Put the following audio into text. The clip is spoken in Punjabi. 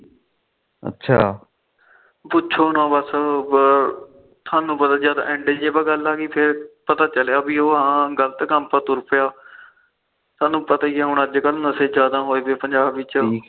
ਪੁਛੋ ਨਾ ਬਸ ਥੋਨੂੰ ਪਤਾ ਜਦ ਇਡ ਚ ਗੱਲ ਆਗੀ ਪਤਾ ਚੱਲਿਆ ਪੀ ਹਾ ਉਹ ਗਲਤ ਕੰਮ ਪਰ ਤੁਰ ਪਿਆ ਥੋਨੂੰ ਪਤਾ ਈ ਆ ਅੱਜ ਕੱਲ ਨਸ਼ੇ ਜਿਆਦਾ ਹੋਏ ਪਏ ਪੰਜਾਬ ਵਿੱਚ